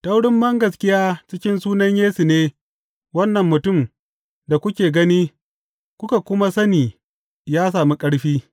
Ta wurin bangaskiya cikin sunan Yesu ne wannan mutum da kuke gani kuka kuma sani ya sami ƙarfi.